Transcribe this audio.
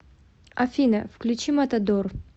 афина включи матадор